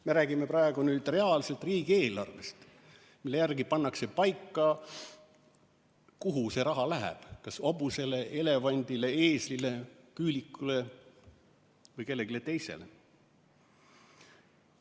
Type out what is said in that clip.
Me räägime praegu reaalselt riigieelarvest, mille järgi pannakse paika see, kuhu raha läheb: kas hobusele, elevandile, eeslile, küülikule või kellelegi teisele?